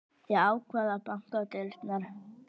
Ég ákvað að banka á dyrnar.